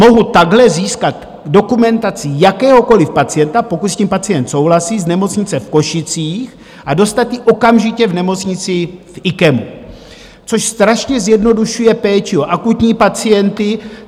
Mohu takhle získat dokumentaci jakéhokoliv pacienta, pokud s tím pacient souhlasí, z nemocnice v Košicích a dostat ji okamžitě v nemocnici v IKEMu, což strašně zjednodušuje péči o akutní pacienty.